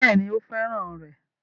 Bẹ́ẹ̀ ni, ó fẹ́ràn rẹ̀